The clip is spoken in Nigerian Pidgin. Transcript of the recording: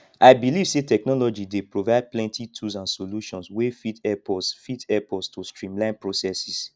i believe say technology dey provide plenty tools and solutions wey fit help us fit help us to streamline processes